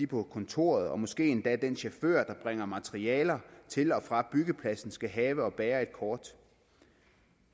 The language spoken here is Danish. på kontoret og måske endda den chauffør der bringer materialer til og fra byggepladsen de skal have og bære et kort